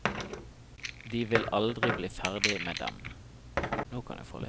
De vil aldri bli ferdig med dem.